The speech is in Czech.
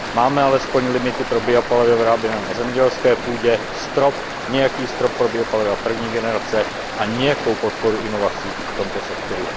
Máme alespoň limity pro biopaliva vyráběná na zemědělské půdě, strop nějaký strop pro biopaliva první generace a nějakou podporu inovací v tomto sektoru.